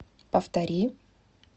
повтори